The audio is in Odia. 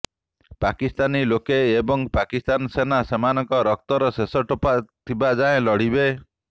ପାକିସ୍ତାନୀ ଲୋକେ ଏବଂ ପାକିସ୍ତାନ ସେନା ସେମାନଙ୍କ ରକ୍ତର ଶେଷ ଟୋପା ଥିବାଯାଏଁ ଲଢ଼ିବେ